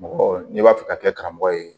Mɔgɔ n'i b'a fɛ ka kɛ karamɔgɔ ye